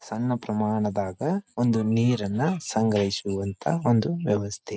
ಸಣ್ಣ ಪ್ರಮಾಣದಾಗ್ ಒಂದು ನೀರನ್ನ ಸಂಗ್ರಹಿಸುವಂತ ಒಂದು ವ್ಯವಸ್ಥೆ.